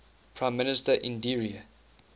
prime minister indira